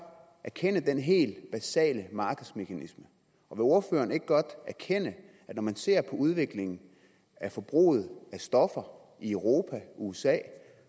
erkende den helt basale markedsmekanisme og vil ordføreren ikke godt erkende at når man ser på udviklingen af forbruget af stoffer i europa og usa